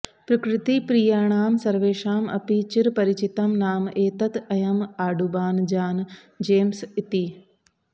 प्रकृतिप्रियाणां सर्वेषाम् अपि चिरपरिचितं नाम एतत् अयम् आडुबान् जान् जेम्स् इति